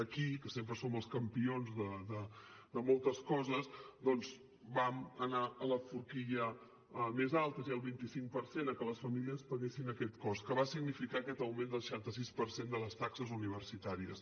aquí que sempre som els campions de moltes coses doncs vam anar a la forquilla més alta és a dir el vint cinc per cent a que les famílies paguessin aquest cost que va significar aquest augment del seixanta sis per cent de les taxes universitàries